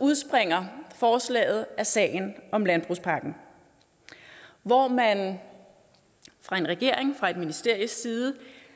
udspringer forslaget af sagen om landbrugspakken hvor man fra en regering fra et ministeries side